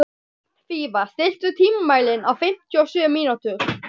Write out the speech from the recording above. Hrafnfífa, stilltu tímamælinn á fimmtíu og sjö mínútur.